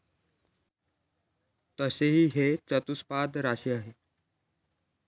तसेच ही चतुष्पाद राशी आहे